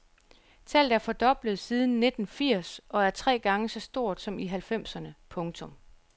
Tallet er fordoblet siden nitten firs og er tre gange så stort som i halvfjerdserne. punktum